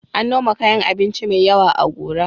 An noma kayan abinci mai yawa a Gora.